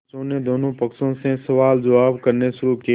पंचों ने दोनों पक्षों से सवालजवाब करने शुरू किये